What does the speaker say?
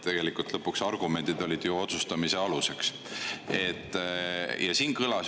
Lõpuks olid ju otsustamise aluseks argumendid.